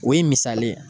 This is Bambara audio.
O ye misali ye